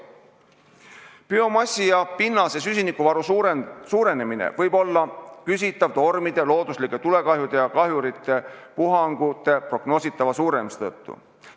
Biomassi ja pinnase süsinikuvaru suurenemine võib olla küsitav tormide, looduslike tulekahjude ja kahjurite puhangute prognoositava suurenemise tõttu.